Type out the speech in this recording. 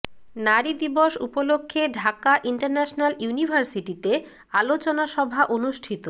নারী দিবস উপলক্ষে ঢাকা ইন্টারন্যাশনাল ইউনিভার্সিটিতে আলোচনা সভা অনুষ্ঠিত